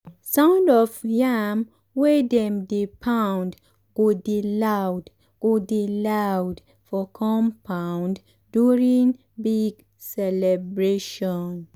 sound of yam wey dem dey pound go dey loud go dey loud for compound during big celebration.